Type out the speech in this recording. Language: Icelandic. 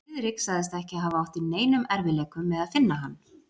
Friðrik sagðist ekki hafa átt í neinum erfiðleikum með að finna hann.